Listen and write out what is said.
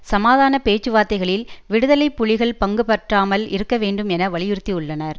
சமாதான பேச்சுவார்த்தைகளில் விடுதலை புலிகள் பங்குபற்றாமல் இருக்க வேண்டும் என வலியுறுத்தியுள்ளனர்